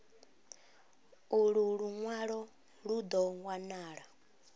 ulu lunwalo lu do wanala